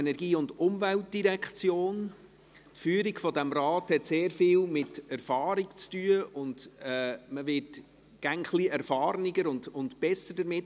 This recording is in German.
Die Führung dieses Rats hat sehr viel mit Erfahrung zu tun, und man wird immer erfahrener und besser darin.